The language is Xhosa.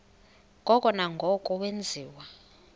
ngoko nangoko wenziwa